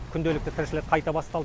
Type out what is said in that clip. күнделікті тіршілік қайта басталды